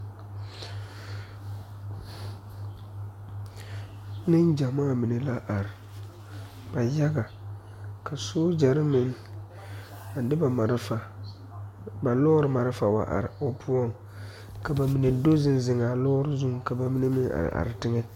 Nengyemaa mine la are ba yaga ka sogyere meŋ di ba malfa ba lɔre malfa wa are o poɔ ka ba mine do zeŋ zeŋ a lɔre zuŋ ka ba mine meŋ are are teŋa.